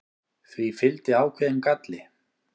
því fylgdi ákveðinn galli